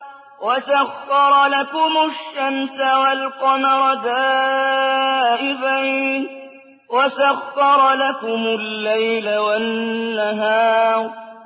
وَسَخَّرَ لَكُمُ الشَّمْسَ وَالْقَمَرَ دَائِبَيْنِ ۖ وَسَخَّرَ لَكُمُ اللَّيْلَ وَالنَّهَارَ